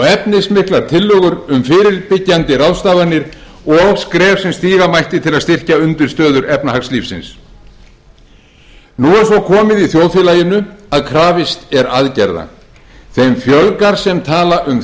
efnismiklar tillögur um fyrirbyggjandi ráðstafanir og skref sem stíga mætti til að styrkja undirstöður efnahagslífsins nú er svo komið í þjóðfélaginu að krafist er aðgerða þeim fjölgar sem tala um